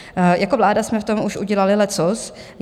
Jako vláda jsme v tom už udělali leccos.